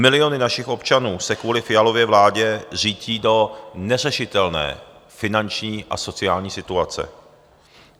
Miliony našich občanů se kvůli Fialově vládě řítí do neřešitelné finanční a sociální situace.